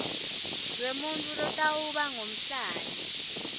lwemuntfu lotawuba ngumhlali